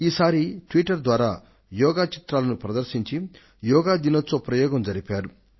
ఈ సారి ట్విట్టర్ ద్వారా యోగా చిత్రాలను ప్రదర్శించి యోగా దిన ప్రయోగం జరిపారు